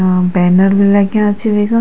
आ banner भी लग्याँ छी ईख।